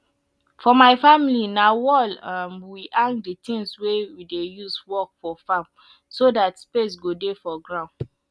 for my family na for wall um we hang di tins we dey use work for farm so dat space go dey for ground